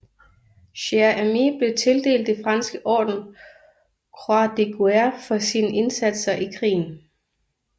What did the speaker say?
Cher Ami blev tildelt det franske orden Croix de Guerre for sine indsatser i krigen